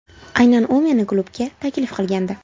Aynan u meni klubga taklif qilgandi.